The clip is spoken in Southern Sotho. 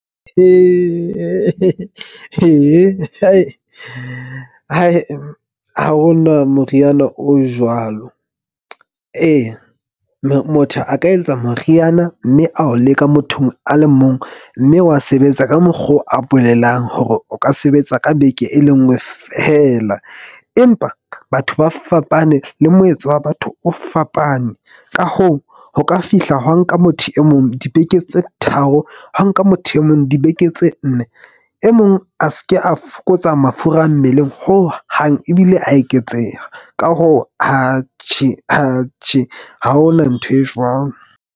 Ho hona moriana o jwalo. Eya, motho a ka eletsa moriana mme ao leka mothong a le mong. Mme wa sebetsa ka mokgo a bolelang hore o ka sebetsa ka beke e lengwe fela. Empa batho ba fapane le moetso wa batho o fapane, ka hoo, ho ka fihla hwa nka motho e mong dibeke tse tharo. Ha nka motho e mong dibeke tse nne e mong a seke a fokotsa mafura mmeleng hohang, ebile a eketseha. Ka hoo ha hona ntho e jwang.